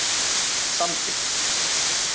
Sandi